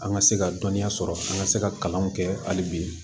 An ka se ka dɔnniya sɔrɔ an ka se ka kalanw kɛ hali bi